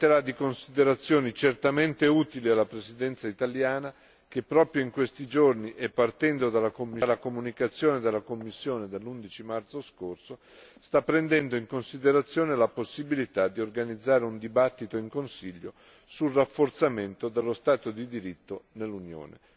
Si tratterà di considerazioni certamente utili alla Presidenza italiana, che proprio in questi giorni e partendo dalla comunicazione della Commissione dell'11 marzo scorso sta prendendo in considerazione la possibilità di organizzare un dibattito in Consiglio sul rafforzamento dello Stato di diritto nell'Unione.